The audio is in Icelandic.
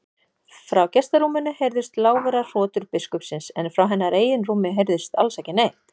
Frá gestarúminu heyrðust lágværar hrotur biskupsins en frá hennar eigin rúmi heyrðist alls ekki neitt.